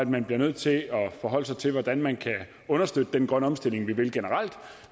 man bliver nødt til at forholde sig til hvordan man kan understøtte den grønne omstilling man vil generelt